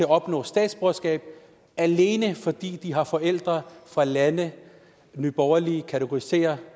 opnå statsborgerskab alene fordi de har forældre fra lande nye borgerlige kategoriserer